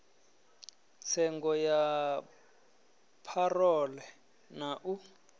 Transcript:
tsengo ya parole na u